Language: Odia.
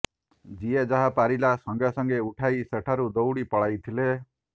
ଯିଏ ଯାହା ପାରିଲା ସାଙ୍ଗେସାଙ୍ଗେ ଉଠାଇ ସେଠାରୁ ଦୌଡ଼ି ପଳାଇଥିଲେ